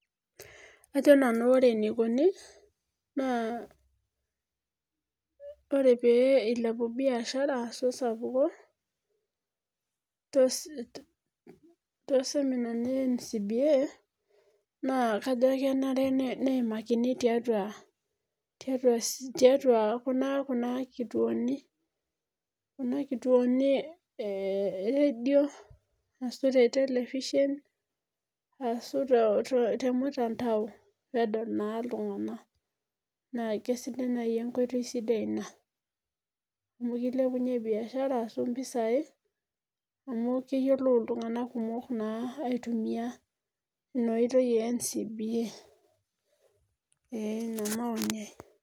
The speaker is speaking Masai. Ajo nanu ore enikoni ,ore pee eilepu biashara ashu esapuk tooseminani ee NCBA ,naa enare ake neimakini tiatua Kuna kituoni eredio ashu te telefishen ashu temtandao pee edol naa oltunganak naa keisidai naaji enkoitoi sidai ina amu kilepunye biashara ashu mpisai amu keyiolou naa iltunganak ina oitoi ee NCBA.